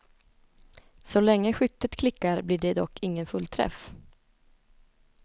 Så länge skyttet klickar blir det dock ingen fullträff.